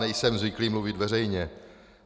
Nejsem zvyklý mluvit veřejně.